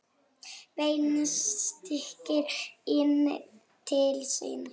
Beint strik inn til sín.